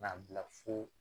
K'a bila fo